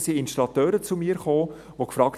Da kamen Installateure zu mir, die fragten: